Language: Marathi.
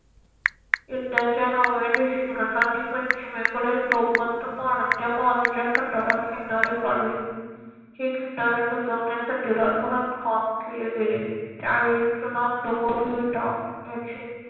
युद्धाच्या नवव्या दिवशी इंग्रजांनी पश्चिमेकडील तोफवंत वाढत्या बाजूच्या तटाला किनारे पाडले. हे किनारे बुजवण्यासाठी रातोरात काम केले गेले त्यावेळी चुना दगड व विटा याचे